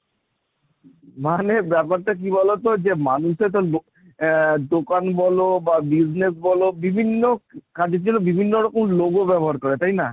মানে ব্যাপারটা কি বলতো যে মানুষে তো দোকান বলো, বা business বলো, বিভিন্ন কাজের জন্য বিভিন্ন রকম logo ব্যবহার করে, তাই না?